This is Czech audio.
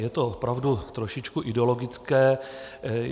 Je to opravdu trošičku ideologické.